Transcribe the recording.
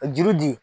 Ka juru di